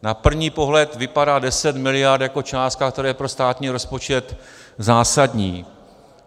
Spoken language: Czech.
Na první pohled vypadá 10 miliard jako částka, která je pro státní rozpočet zásadní.